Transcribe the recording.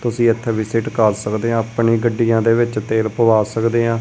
ਤੁਸੀਂ ਇੱਥੇ ਵੀਸਿਟ ਕਰ ਸਕਦੇ ਆ ਆਪਣੀ ਗੱਡੀਆਂ ਦੇ ਵਿੱਚ ਤੇਲ ਪਵਾ ਸਕਦੇ ਆਂ।